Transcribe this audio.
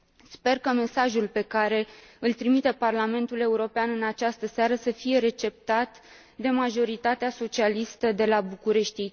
Sper că mesajul pe care îl trimite Parlamentul European în această seară să fie receptat de majoritatea socialistă de la București.